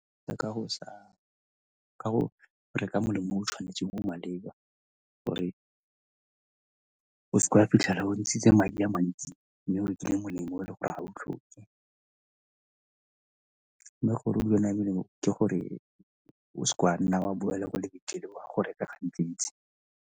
ka go reka molemo o o tshwanetseng o o maleba gore o seke wa fitlhela ntshitse madi a mantsi mme o rekile molemo o e le gore ga o tlhoke. Mme gore o dule o na le melemo ke gore o se ka wa nna wa boela kwa lebenkeleng o a go reka gantsi-ntsi.